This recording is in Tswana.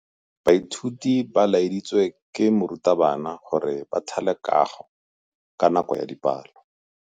Baithuti ba laeditswe ke morutabana gore ba thale kagô ka nako ya dipalô.